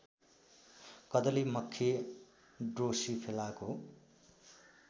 कदली मक्खी ड्रोसोफिलाको